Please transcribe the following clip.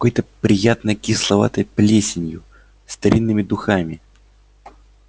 какой-то приятной кисловатой плесенью старинными духами